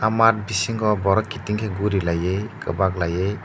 mat bisingo borok kiting ke gorilaye kobak layea.